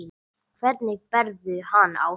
Hvernig berðu hann á þig?